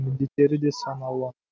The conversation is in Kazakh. міндеттері де сан алуан